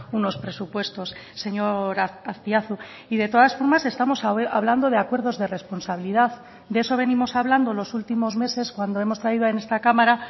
unos presupuestos señor azpiazu y de todas formas estamos hablando de acuerdos de responsabilidad de eso venimos hablando los últimos meses cuando hemos traído en esta cámara